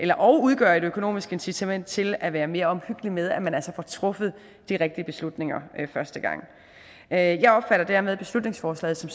og udgøre et økonomisk incitament til at være mere omhyggelig med at man altså får truffet de rigtige beslutninger første gang jeg opfatter dermed beslutningsforslaget som